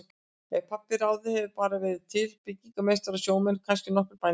Ef pabbi hefði ráðið hefðu bara verið til byggingameistarar og sjómenn og kannski nokkrir bændur.